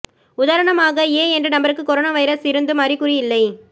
உதாரணமாக ஏ என்ற நபருக்கு கொரோனா வைரஸ் இருந்தும் அறிகுறி இல்லை